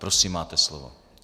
Prosím, máte slovo.